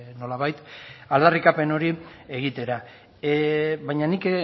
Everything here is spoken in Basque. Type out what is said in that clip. nolabait aldarrikapen hori egitera baina nik